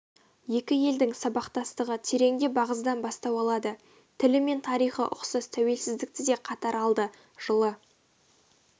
екі елдің сабақтастығы тереңде бағзыдан бастау алады тілі мен тарихы ұқсас тәуелсіздікті де қатар алды жылы